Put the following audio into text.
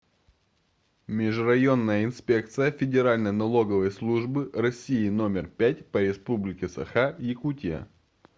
межрайонная инспекция федеральной налоговой службы россии номер пять по республике саха якутия